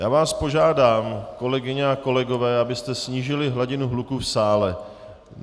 Já vás požádám, kolegyně a kolegové, abyste snížili hladinu hluku v sále.